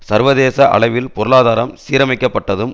சர்வதேச அளவில் பொருளாதாரம் சீரமைக்கப்பட்டதும்